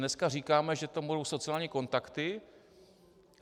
Dneska říkáme, že tam budou sociální kontakty.